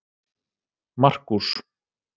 Markús